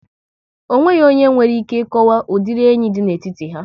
Ọ nweghị onye nwere ike ị kọwaw udiri enyi dị n'etiti ha